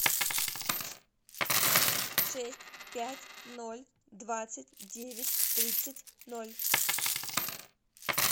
шесть пять ноль двадцать девять тридцать ноль